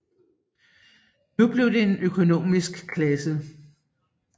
Nu blev det en økonomisk klasse